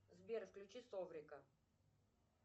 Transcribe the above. сбер включи соврика